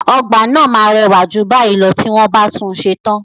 Ọgbà náà máa rẹwà jù báyìí lọ tí wọ́n bá tún un ṣe tán.